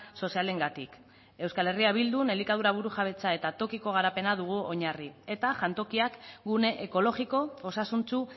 sozialengatik euskal herria bildun elikadura burujabetza eta tokiko garapena dugu oinarri eta jantokiak gune ekologiko osasuntsu